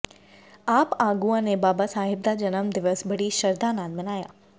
ਆਪ ਆਗੂਆਂ ਨੇ ਬਾਬਾ ਸਾਹਿਬ ਦਾ ਜਨਮ ਦਿਵਸ ਬੜੀ ਸ਼ਰਧਾ ਨਾਲ ਮਨਾਇਆ